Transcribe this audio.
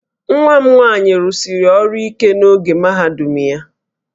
Nwa m nwaanyị rụsiri ọrụ ike n'oge mahadum ya